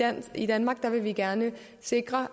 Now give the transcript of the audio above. at i danmark vil vi gerne sikre